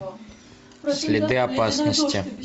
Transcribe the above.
следы опасности